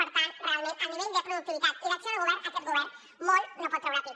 per tant realment en nivell de productivitat i d’acció de govern aquest govern molt no pot treure pit